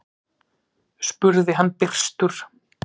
spurði hann byrstur.